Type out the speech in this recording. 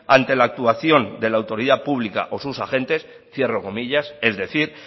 ante la actuación de la autoridad pública o sus agentes cierro comillas es decir